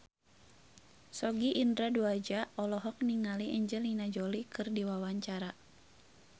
Sogi Indra Duaja olohok ningali Angelina Jolie keur diwawancara